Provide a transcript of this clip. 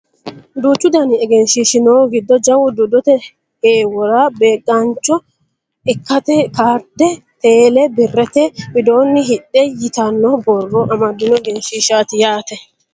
duuchu dani egenshiishshi noohu giddo jawu dodate heewora beeqaancho ikkate kaarde teele birrete widoonni hidhe yitanno borrro amaddino egenshiishshaati yaate